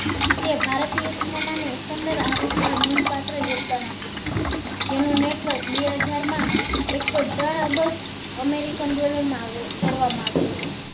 જે ભારતીય cinema ને એકંદર આવક માં પાત્ર યોગદાન આપ્યું હતું જેનું network બે હજાર માં એક point ત્રણ અબજ american dollar માં કરવા માં આવ્યું હતું